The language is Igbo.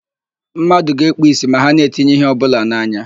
Mmadụ ga-ekpu ìsì ma ha na-etinye íhé ọbụla n'anya.